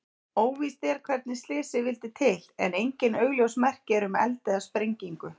Óvíst er hvernig slysið vildi til en engin augljós merki eru um eld eða sprengingu.